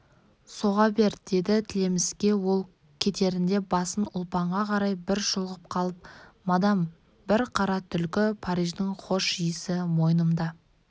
соға бер деді тілеміске ол кетерінде басын ұлпанға қарай бір шұлғып қалып мадам бір қара түлкі париждің хош-иісі мойнымда